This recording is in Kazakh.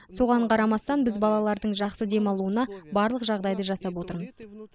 соған қарамастан біз балалардың жақсы демалуына барлық жағдайды жасап отырмыз